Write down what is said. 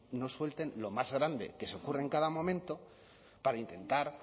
no suelten lo más grande que se ocurre en cada momento para intentar